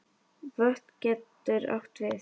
Vötn getur átt við